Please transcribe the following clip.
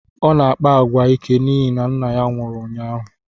Ọ na-akpa agwa ike n'ihi na nna ya nwụrụ ụnyaahụ